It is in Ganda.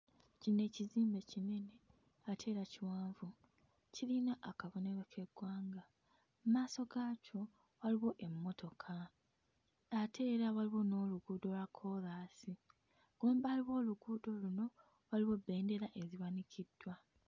Kino ekizimbe kinene ate era kiwanvu, kirina akabonero k'eggwanga. Mu maaso gaakyo waliwo emmotoka ate era waliwo n'oluguudo lwa koolaasi. Emabbali w'oluguudo luno waliwo bbendera eziwanikiddwa.